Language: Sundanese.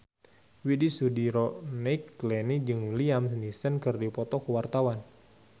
Widy Soediro Nichlany jeung Liam Neeson keur dipoto ku wartawan